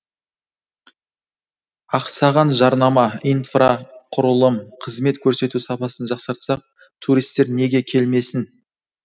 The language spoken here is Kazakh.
ақсаған жарнама инфрақұрылым қызмет көрсету сапасын жақсартсақ туристер неге келмесін